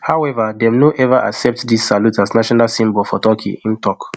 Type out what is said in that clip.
however dem no eva accept dis salute as national symbol for turkey im tok